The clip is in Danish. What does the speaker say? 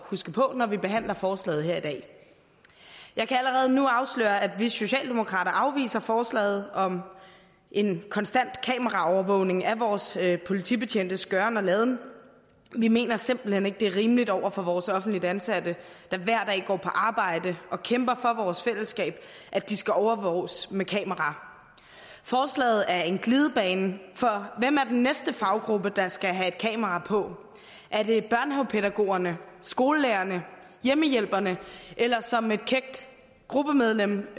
huske på når vi behandler forslaget her i dag jeg kan allerede nu afsløre at vi socialdemokrater afviser forslaget om en konstant kameraovervågning af vores politibetjentes gøren og laden vi mener simpelt hen ikke det er rimeligt over for vores offentligt ansatte der hver dag går på arbejde og kæmper for vores fællesskab at de skal overvåges med kamera forslaget er en glidebane for hvem er den næste faggruppe der skal have et kamera på er det børnehavepædagogerne skolelærerne hjemmehjælperne eller som et kækt gruppemedlem